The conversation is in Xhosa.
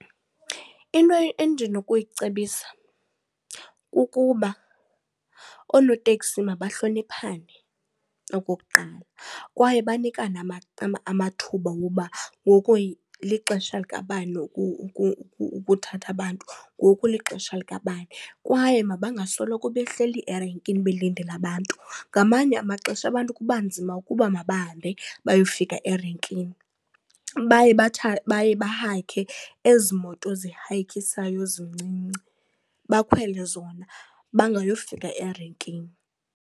Into endinokuyicebisa kukuba oonoteksi mabahloniphane, okokuqala, kwaye banikane amathuba woba ngoku lixesha likabani ukuthatha abantu, ngoku lixesha likabani. Kwaye mabangasoloko behleli erenkini belindele abantu. Ngamanye amaxesha abantu kuba nzima ukuba mabahambe bayofika erenkini. Baye baye bahayikhe ezi moto zihayikhisayo zincinci bakhwele zona bangayofika erenkini.